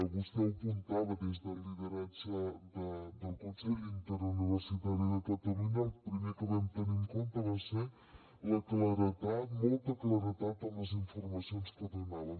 vostè ho apuntava des del lideratge del consell interuniversitari de catalunya el primer que vam tenir en compte va ser la claredat molta claredat en les informacions que donàvem